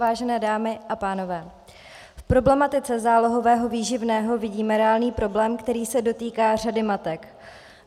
Vážené dámy a pánové, v problematice zálohového výživného vidím reálný problém, který se dotýká řady matek.